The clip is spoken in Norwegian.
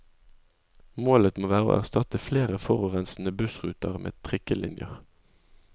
Målet må være å erstatte flere forurensende bussruter med trikkelinjer.